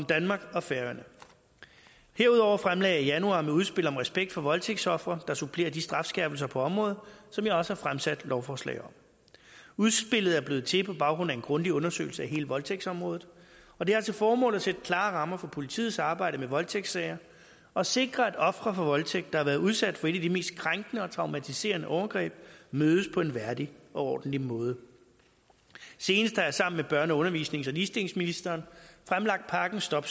danmark og færøerne herudover fremlagde jeg i januar et udspil om respekt for voldtægtsofre der supplerer de strafskærpelser på området som jeg også har fremsat lovforslag om udspillet er blevet til på baggrund af en grundig undersøgelse af hele voldtægtsområdet og det har til formål at sætte klare rammer for politiets arbejde med voldtægtssager og sikre at ofre for voldtægt der har været udsat for et af de mest krænkende og traumatiserende overgreb mødes på en værdig og ordentlig måde senest har jeg sammen med børne undervisnings og ligestillingsministeren fremlagt pakken stop